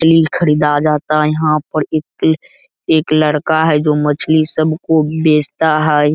तिल ख़रीदा जाता यहाँ पर एक एक लड़का है जो मछली सबको बेचता है।